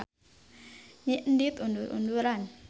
Nyi Endit undur-unduran.